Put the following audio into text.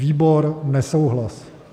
Výbor: nesouhlas.